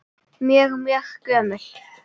Mjög, mjög gömul.